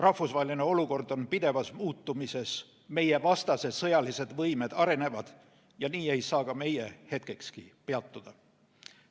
Rahvusvaheline olukord on pidevas muutumises, meie vastase sõjalised võimed arenevad ja nii ei saa ka meie hetkekski peatuda.